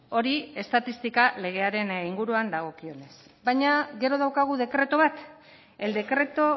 hori estatistika legearen inguruan dagokionez baina gero daukagu dekretu bat el decreto